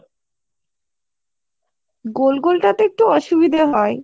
গোল গোল টা তে একটু অসুবিধা হয়।